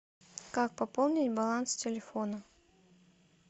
как пополнить баланс телефона